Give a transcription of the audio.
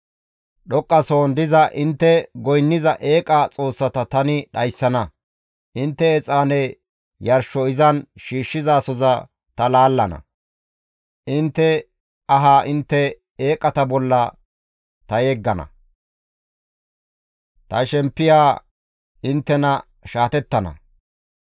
Dhoqqasohon diza intte goynniza eeqa xoossata tani dhayssana; intte exaane yarsho izan shiishshizasoza ta laallana; intte ahaa intte eeqata bolla ta yeggana; ta shemppiya inttena shaatettana.